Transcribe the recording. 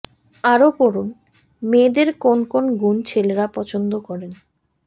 আরও পড়ুন মেয়েদের কোন কোন গুণ ছেলেরা পছন্দ করেন